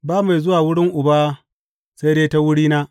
Ba mai zuwa wurin Uba sai dai ta wurina.